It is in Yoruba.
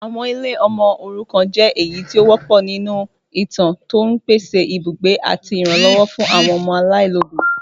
Àwọn ilé ọmọ òrukàn jẹ èyí tó wọpọ̀ nínú ìtàn, tó ń pèsè ibùgbé àti ìrànlọ́wọ́ fún àwọn ọmọ aláìlóbìí.